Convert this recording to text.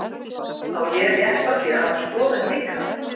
Á ég rétt á því að hafa skoðun líka?